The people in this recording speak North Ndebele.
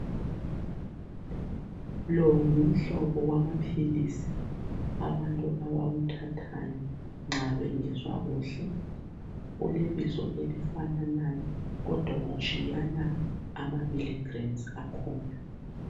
Lo ngumhlobo wamaphilisi abantu abawuthathayo nxa bengezwa kuhle ulebizo elifananayo kodwa utshiyana amamili-grams akhona.